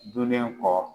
Donlen kɔ